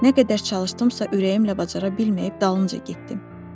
Nə qədər çalışdımsa ürəyimlə bacara bilməyib dalınca getdim.